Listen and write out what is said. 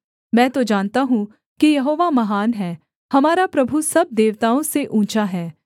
मैं तो जानता हूँ कि यहोवा महान है हमारा प्रभु सब देवताओं से ऊँचा है